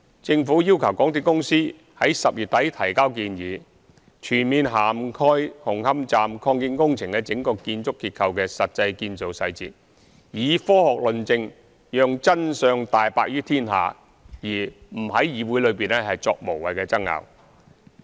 政府要求港鐵公司在10月底提交建議，全面涵蓋紅磡站擴建工程的整個建築結構的實際建造細節，以科學論證讓真相大白於天下，而不在議會內作無謂爭拗。